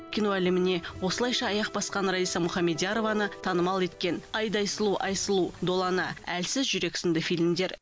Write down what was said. кино әлеміне осылайша аяқ басқан раиса мұхамедиярованы танымал еткен айдай сұлу айсұлу долана әлсіз жүрек сынды фильмдер